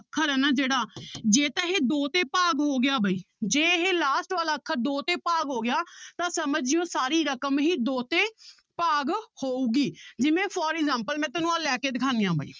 ਅੱਖਰ ਹੈ ਨਾ ਜਿਹੜਾ ਜੇ ਤਾਂ ਇਹ ਦੋ ਤੇ ਭਾਗ ਹੋ ਗਿਆ ਬਾਈ ਜੇ ਇਹ last ਵਾਲਾ ਅੱਖਰ ਦੋ ਤੇ ਭਾਗ ਹੋ ਗਿਆ ਤਾਂ ਸਮਝ ਜਾਇਓ ਸਾਰੀ ਰਕਮ ਹੀ ਦੋ ਤੇ ਭਾਗ ਹੋਊਗੀ ਜਿਵੇਂ for example ਮੈਂ ਤੁਹਾਨੂੰ ਆਹ ਲੈ ਕੇ ਦਿਖਾਉਂਦੀ ਹਾਂ ਬਾਈ